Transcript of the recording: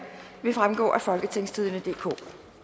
vil fremgå af folketingstidende DK